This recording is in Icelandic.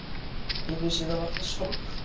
Ég vissi það varla sjálfur.